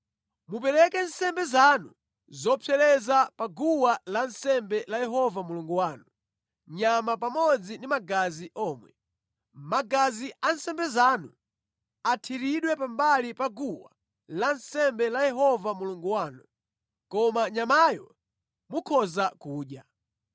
Mupereke nsembe zanu zopsereza pa guwa lansembe la Yehova Mulungu wanu, nyama pamodzi ndi magazi omwe. Magazi a nsembe zanu athiridwe pambali pa guwa lansembe la Yehova Mulungu wanu, koma nyamayo mukhoza kudya.